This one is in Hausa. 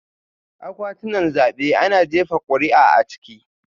Akwatunan zabe ana jefa kuri'a a ciki